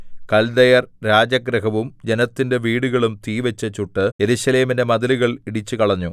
കല്ദയർ രാജഗൃഹവും ജനത്തിന്റെ വീടുകളും തീവച്ചു ചുട്ട് യെരൂശലേമിന്റെ മതിലുകൾ ഇടിച്ചുകളഞ്ഞു